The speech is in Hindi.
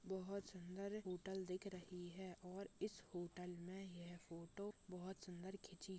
बहुत सुंदर होटल दिख रही है और इस होटल में यह फोटो बहुत सुंदर खींची--